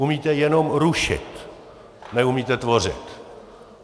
Umíte jenom rušit, neumíte tvořit.